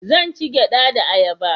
Zan ci gyada da ayaba